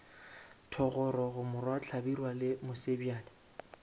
thogorogo morwa hlabirwa le mosebjadi